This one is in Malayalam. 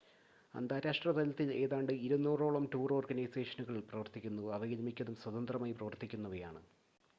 അന്താരാഷ്‌ട്ര തലത്തിൽ ഏതാണ്ട് 200 ഓളം ടൂർ ഓർഗനൈസേഷനുകൾ പ്രവർത്തിക്കുന്നു അവയിൽ മിക്കതും സ്വതന്ത്രമായി പ്രവർത്തിക്കുന്നവയാണ്